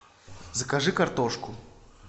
закажи картошку